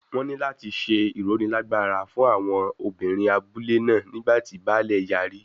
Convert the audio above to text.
Wọn ní láti ṣe ìrónilágbára fún àwọn obìnrin abúlé náà nígbà tí baálẹ̀ yarí.